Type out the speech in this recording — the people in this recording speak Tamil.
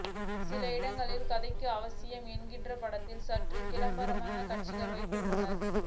சில இடங்களில் கதைக்கு அவசியம் என்கிறபட்சத்தில் சற்று கிளாமரான காட்சிகளை வைத்துள்ளார்